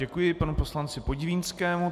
Děkuji panu poslanci Podivínskému.